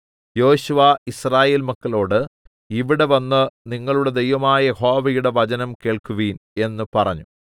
യോശുവ യിസ്രായേൽ മക്കളോട് ഇവിടെ വന്ന് നിങ്ങളുടെ ദൈവമായ യഹോവയുടെ വചനം കേൾക്കുവിൻ എന്ന് പറഞ്ഞു